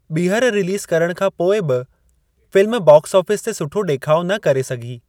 ॿीहर रिलीज़ करणु खां पोइ बि फ़िल्म बॉक्स ऑफ़िस ते सुठो डे॒खाउ न करे सघी।